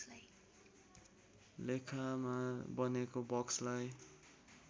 रेखामा बनेको बक्सलाई